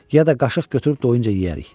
Ya da qaşıq götürüb doyuncaya yeyərik.